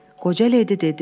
Qoca ledi dedi.